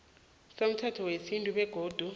somthetho wesintu begodu